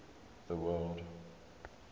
the word